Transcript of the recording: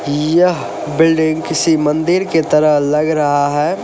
यह बिल्डिंग किसी मंदिर की तरह लग रहा है।